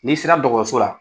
N'i sera dɔgɔso la.